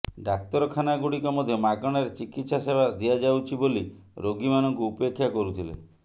ଡାକ୍ତରଖାନାଗୁଡିକ ମଧ୍ୟ ମାଗଣାରେ ଚିକିତ୍ସା ସେବା ଦିଆଯାଉଛି ବୋଲି ରୋଗୀମାନଙ୍କୁ ଉପେକ୍ଷା କରୁଥିଲେ